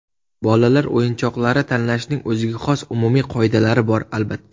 Bolalar o‘yinchoqlari tanlashning o‘ziga xos umumiy qoidalari bor, albatta.